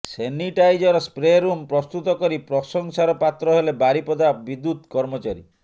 sanitiser spray room ପ୍ରସ୍ତୁତ କରି ପ୍ରଶଂସାର ପାତ୍ର ହେଲେ ବାରିପଦା ବିଦ୍ୟୁତ କର୍ମଚାରୀ